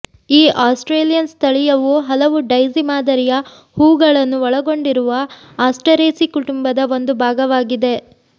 ಈ ಆಸ್ಟ್ರೇಲಿಯನ್ ಸ್ಥಳೀಯವು ಹಲವು ಡೈಸಿ ಮಾದರಿಯ ಹೂವುಗಳನ್ನು ಒಳಗೊಂಡಿರುವ ಆಸ್ಟರೇಸಿ ಕುಟುಂಬದ ಒಂದು ಭಾಗವಾಗಿದೆ